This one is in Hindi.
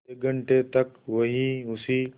आधे घंटे तक वहीं उसी